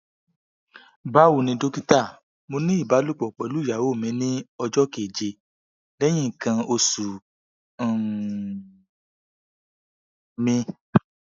bawoni dokita mo ni ibalopo pelu iyawo mi ni ojo keje lehin ikan osu um mi